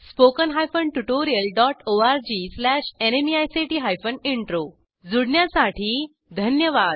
spoken hyphen tutorial dot org slash NMEICT hyphen intro जूण्यासाठी धन्यवाद